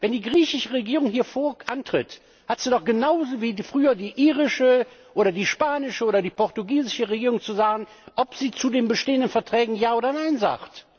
Wenn die griechische Regierung hier antritt, hat sie doch genau wie früher die irische oder die spanische oder die portugiesische Regierung zu sagen, ob sie zu den bestehenden Verträgen Ja oder Nein sagt.